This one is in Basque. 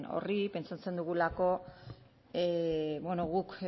horri pentsatzen dugulako bueno guk